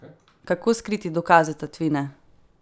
Kako skriti dokaze tatvine?